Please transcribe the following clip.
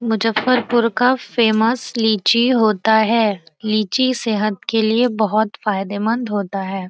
मुजफ्फरपुर का फेमस लीची होता है लीची सेहत के लिए बहुत फायदेमंद होता है।